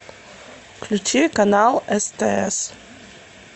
включи канал стс